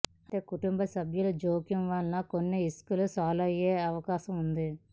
అయితే కుటుంబ సభ్యుల జోక్యం వలన కొన్ని ఇష్యూలు సాల్వ్ అయ్యే అవకాశం ఉంది